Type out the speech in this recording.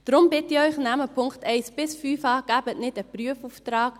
Deshalb bitte ich Sie: Nehmen Sie die Punkte 1–5 an, geben Sie nicht einen Prüfauftrag.